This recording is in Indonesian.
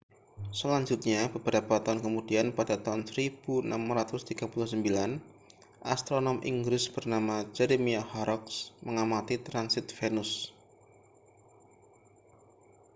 selanjutnya beberapa tahun kemudian pada tahun 1639 astronom inggris bernama jeremiah horrocks mengamati transit venus